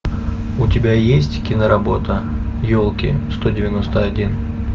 у тебя есть киноработа елки сто девяносто один